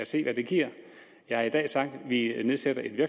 se hvad det giver jeg har i dag sagt at vi nedsætter et